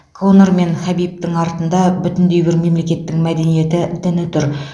конор мен хабибтің артында бүтіндей бір мемлекеттің мәдениеті діні тұр